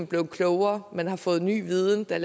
blevet klogere man har fået ny viden der